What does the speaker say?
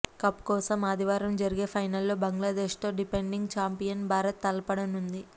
cup కోసం ఆదివారం జరిగే ఫైనల్లో బంగ్లాదేశ్తో డిఫెండింగ్ ఛాంపియన్ భారత్ తలపడనుంది